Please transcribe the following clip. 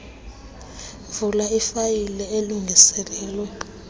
vula ifayile elungiselelwe